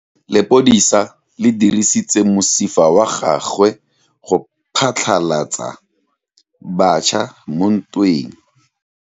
Lepodisa le dirisitse mosifa wa gagwe go phatlalatsa batšha mo ntweng.